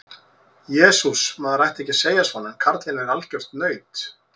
Jesús, maður ætti ekki að segja svona en karlinn er algjört naut.